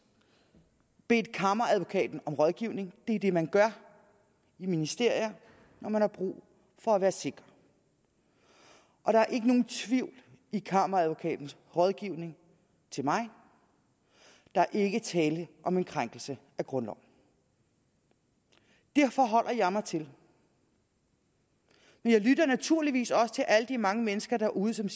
bedt kammeradvokaten om rådgivning det er det man gør i ministerier når man har brug for at være sikker og der er ikke nogen tvivl i kammeradvokatens rådgivning til mig der er ikke tale om en krænkelse af grundloven det forholder jeg mig til men jeg lytter naturligvis også til alle de mange mennesker derude som